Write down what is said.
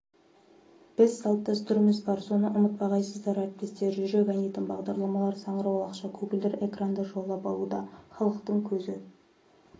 біз салт-дәстүріміз бар соны ұмытпағайсыздар әріптестер жүрек айнитын бағдарламалар саңырауқұлақша көгілдір экранды жаулап алуда халықтың көзі